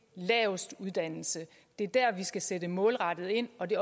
laveste uddannelse det er der skal sætte målrettet ind og det